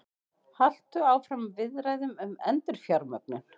Halda áfram viðræðum um endurfjármögnun